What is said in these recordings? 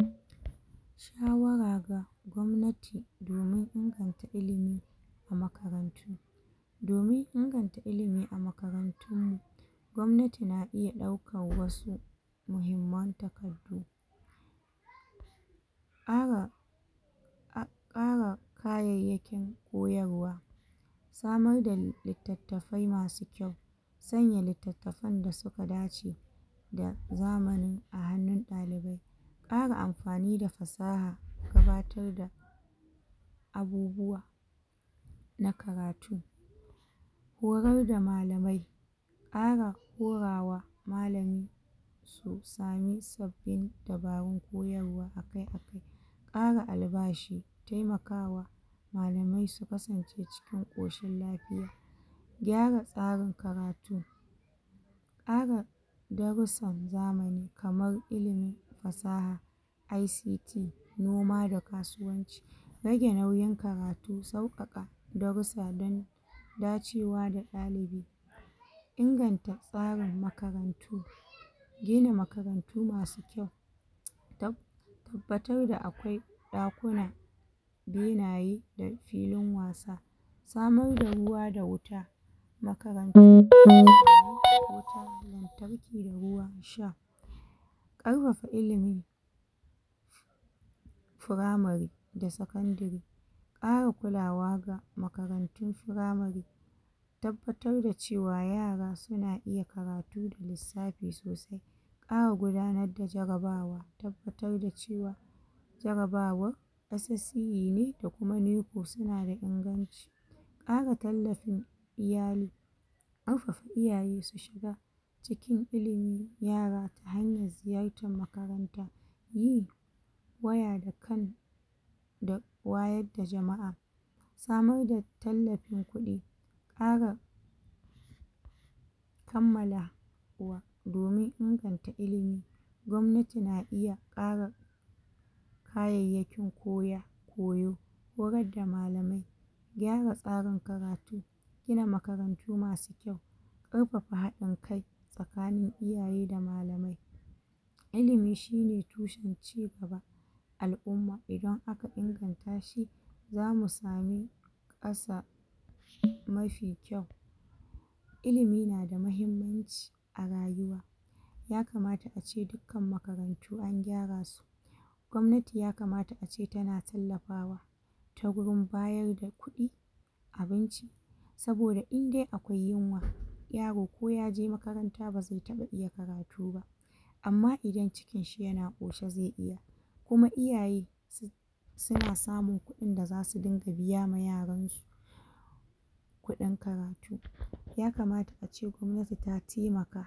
um Shawara ga gomnati domin an ɗauki ilimi a makarantu domin inganta ilimi a makaran tun mu gobnati na iya ɗaukan wasu muhimman ƙara ƙara kayayyakin koyarwa samar da littattafai masu kyau sanya littattafan da suka dace da zamani a hannun ɗalibai ƙara amfani da fasaha gabatarda abubuwa na karatu horar da malamai ƙara horama malami to samu sabbi dabaru koyarwa akai akai ƙara albashi temakawa malamai su kasance ciki ƙoshin lafiya gyara tsarin karatu ƙara darusan zamani kamar ilimin fasaha ICT noma da kasuwanci rage nauyin karatu sau ƙake darusa dan dacewa da ɗalibi inganta tsarin makarantu gina makarantu masu kyau um tab tabbatar da akwai ɗa kuna benaye da filin wasa samar da ruwa da wuta makaran tun na allo ko ta tarki da ruwa sha ƙarfafa ilimi firamari da sekandary ƙara kulawa da makanrantun firamari tabbatar da cewa yara suna iya karatu lissafi sosai ƙara gudanar da jarabawa tabbatar da cewa jara bawan SSCE ne da kuma NECO sunada inganci ƙara tallafin iyali ƙarfafa iyaye su shiga cikin ilimi yara ta hayan ziyartan makaranta yi waya da kan da wayad da jama'a samar da tallafin kuɗi ƙara kammala wa domin ingata ilimi gobnati na iya ƙara kayayyakin koya koyo horadda malamai gyara tsarin karatu gina makarantu masu kyau ƙarfafa haɗin kai tsakanin iyaye da malamai ilimi shine tushen ci gaba al umma idan aka ingan tashi zamu sami ƙasa mafi kyau ilimi nada mahimmanci arayuwa ace dukkan makarantu an gyarasu gobnati yakamata ace tana tallafawa ta gurin bayarda kuɗi abinci saboda indai akwai yinwa yaro ko yaje makaranta baze taɓa iya karatuba amma idan cikinshi yana ƙoshe ze iya kuma iyaye su suna samun kuɗin da zasu dinga biya yaransu kuɗin karatu yakamata ace gobnati ta temaka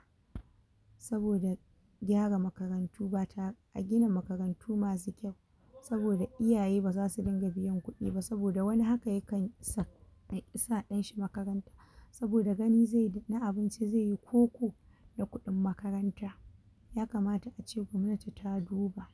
saboda gyara makarantu bata, a gina makarantu masu kyau saboda iyaye bazasu dinga biyan kuɗi ba saboda wani hakan yakansa yaƙi sa ɗanshi makaranta saboda gani zeyi na abinci ko ko da kuɗin makaranta yakamata ace gobnati ta duba